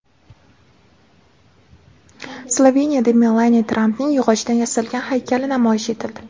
Sloveniyada Melaniya Trampning yog‘ochdan yasalgan haykali namoyish etildi.